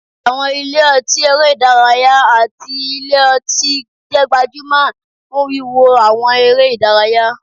Àwọn ilé ọtí eré ìdárayá àti ilé ọtí jẹ́ gbajúmọ̀ fún wíwo àwọn eré ìdárayá